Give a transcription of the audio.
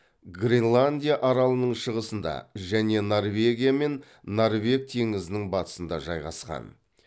гренландия аралының шығысында және норвегия мен норвег теңізінің батысында жайғасқан